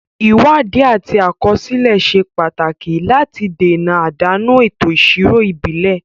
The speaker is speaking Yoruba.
Ìwádìí àti àkọsílẹ̀ ṣe pàtàkì láti dènà àdánù ètò ìṣirò ìbílẹ̀.